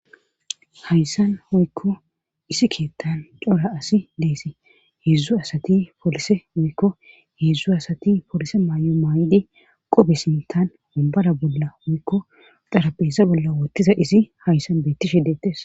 Hayssan hoykko isi keettan cora asi deesi heedzdzu asati polise oykko heedzdzu asati polise maay'o maay'ide qobe sintan mombara bolla oykko xarapeesa bolla wottiza isi hayssan beettishe deettes.